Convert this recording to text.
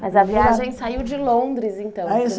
Mas a viagem saiu de Londres, então. Aí